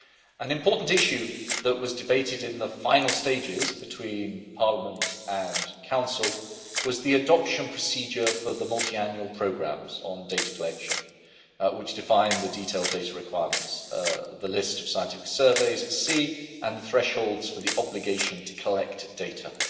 An important issue that was debated in the final stages between Parliament and Council was the adoption procedure for the multiannual programmes on data collection, which define the detailed data requirements, the list of scientific surveys at sea and thresholds for the obligation to collect data.